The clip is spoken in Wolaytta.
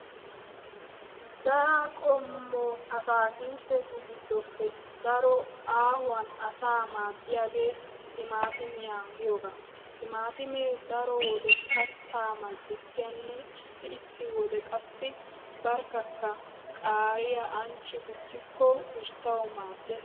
Dara qommo ataakilttetu giddoppe daro aahuwan asaa maaddiyagee timatimiya giyoogaa. Timaatime daro wode kattaa mal"ettiyanne issi issi wode qassi barkkakka qaariya ancci gujjikko usttawu maaddees.